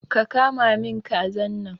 Ka kama min kazan nan!